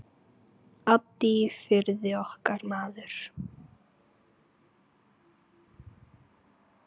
Addi í Firði, okkar maður.